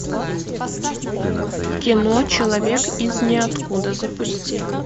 кино человек из ниоткуда запусти